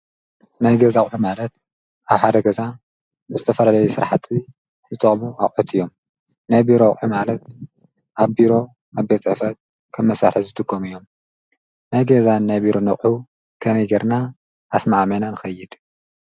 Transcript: ናይ ገዛ ኣዊዕ ማለት ኣብ ሓደ ገዛ ንዝተፈልለዩ ሥርሕጢ ዝተሙ ኣብዑት እዮም ናይ ቢሮውዕ ማለት ኣብ ቢሮ ኣብ ቤጽአፈት ከብ መሣሐ ዝትጎም እዮም ናይ ገዛን ናይ ቢሮ ነዑ ከመይ ገርና ኣስማዓሜና ንኸይድ